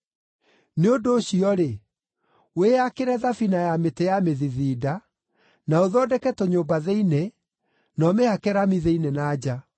Nĩ ũndũ ũcio-rĩ, wĩyakĩre thabina ya mĩtĩ ya mĩthithinda; na ũthondeke tũnyũmba thĩinĩ, na ũmĩhake rami thĩinĩ na nja.